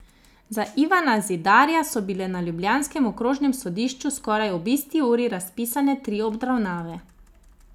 Za Ivana Zidarja so bile na ljubljanskem okrožnem sodišču skoraj ob isti uri razpisane tri obravnave.